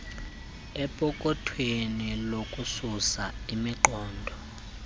empokothweni lokususa imiqobo